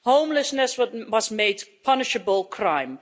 homelessness was made a punishable crime